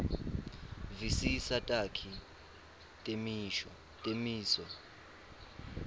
visisa takhi netimiso